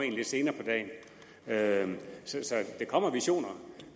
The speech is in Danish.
en lidt senere på dagen så der kommer visioner